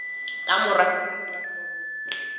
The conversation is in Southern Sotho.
ka mora kotulo ya koro